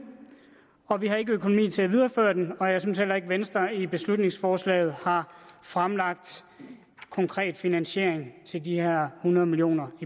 og vi ikke har økonomi til at videreføre den og jeg synes heller ikke at venstre i beslutningsforslaget har fremlagt konkret finansiering til de her hundrede million